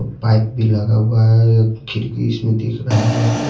Pipe भी लगा हुआ है या खिड़की इसमें दिख रहा है।